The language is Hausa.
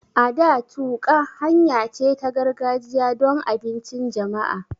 A da, tuƙa, hanya ce ta gargajiya don abincin jama'a